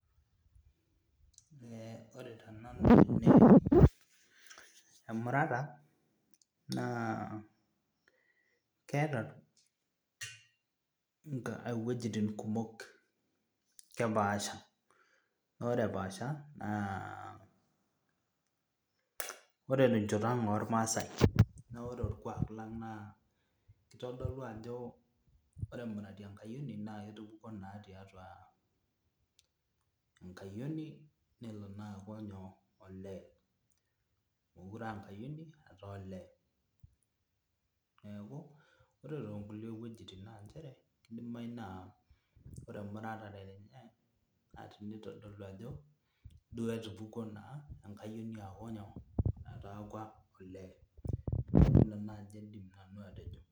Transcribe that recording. Ore tenanu emurata naa keeta iwuejitin kumok kepaasha naa ore epaasha naa ore tenchoto ang' ormaasae naa ore orkuak lang' naa kitodolu ajo ore emurati enkayioni naa ketupukuo naa aa enkayioni nelo naa aaku olee meekure aa enkayioni etaa olee neeku Ore toonkulie wuejitin naa kdimayu naa ore emuratare enye nitodolu ajo etupukuo enkayioni aaku olee neeku nijia nanu aidim atejo.